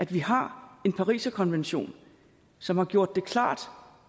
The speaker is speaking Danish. vi har en pariserkonvention som har gjort det klart